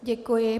Děkuji.